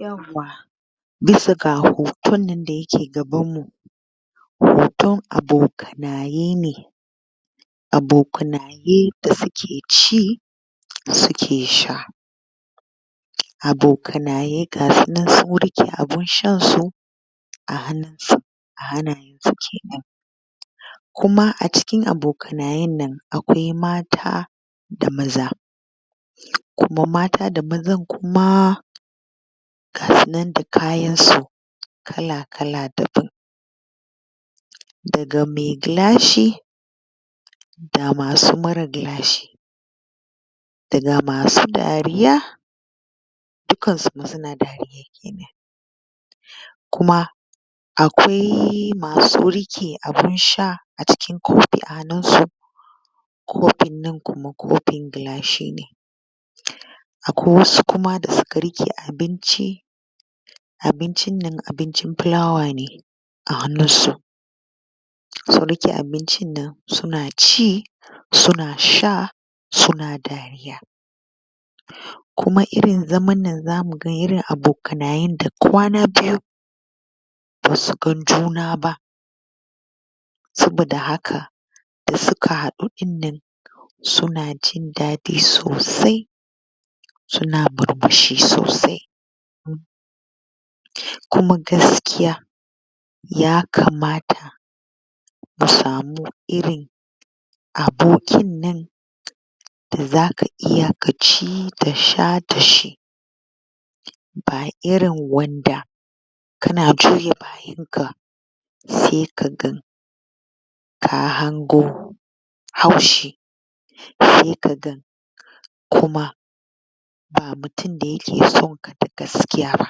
Yawwa! Bisa ga hagu wannan da yake gabanmu hoton abokanaye ne, abokanaye da suke ci suke sha. Abokanaye ga su nan sun riƙe abun shansu a hannunsu a hannayensu kenan, kuma a cikin abokanayen nan akwai mata da maza, kuma mata da mazan kuma ga sunan da kayansu kala kala daban. Daga mai gilashi, ga masu mara gilashi, da ga masu dariya dukkansu suna dariya kenan, kuma akwai masu riƙe abun sha a cikin kofi a hannunsu. Kofin nan kuma kofin gilashi ne, akwai wasu kuma da suka riƙe abinci, abincin nan abincin flour ne a hannunsu, sun riƙe abincin nan suna ci, suna sha, suna dariya, kuma irin zaman nan za mu ga irin abokanayen da kwana biyu ba su gan juna ba, saboda haka da suka haɗu ɗin nan suna jin daɗi sosai, suna murmushi sosai. Kuma gaskiya ya kamata su samu irin abokin nan da za ka iya ci da sha da shi, ba irin wanda kana juya bayanka sai ka ga ka hango haushi, sai ka ga kuma ba mutum da yake son ka da gaskiya ba,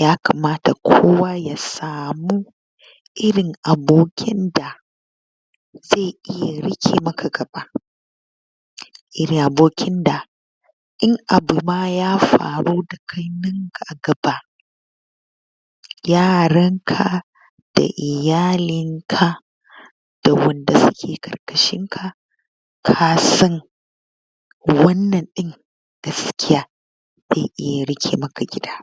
ya kamata kowa ya samu irin abokin da zai iya ya riƙe maka ƙafa, iirin abokin da in abu ma ya faru da kai nan a gaba yaranka da iyalinka da wanda suke ƙarƙashinka ka san wannan ɗin gaskiya zai iya rike maka gida.